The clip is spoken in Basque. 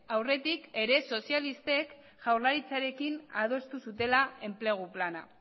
aurretik ere sozialistek jaurlaritzarekin adostu zutela enplegu plana